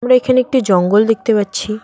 আমরা এখানে একটি জঙ্গল দেখতে পাচ্ছি।